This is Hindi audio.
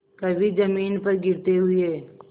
कभी जमीन पर गिरते हुए